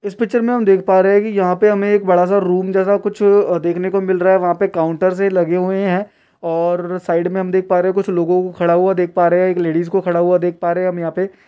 इस पिक्चर में हम देख पा रहे है की यहां पर हमे एक बड़ा सा रूम जैसा कुछ अ देखने को मिल रहा है वहा पर काउंटर से लगे हुए है और साइड में हम देख पा रहे है कुछ लोगो को खड़ा हुआ देख पा रहे है एक लेडिस को खड़ा हुआ देख पा रहे है हम यहां पे --